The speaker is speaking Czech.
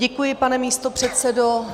Děkuji, pane místopředsedo.